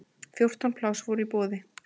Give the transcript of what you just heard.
Fjórtán pláss voru í boði.